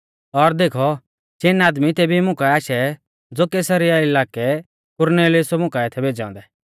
और देखौ चिन आदमी तेभी मुकाऐ आशै ज़ो कैसरिया इलाकै कुरनेलियुसै मुकाऐ थै भेज़ै औन्दै